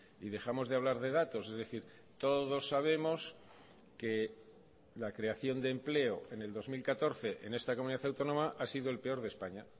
y dejamos de hablar de datos es decir todos sabemos que la creación de empleo en el dos mil catorce en esta comunidad autónoma ha sido el peor de españa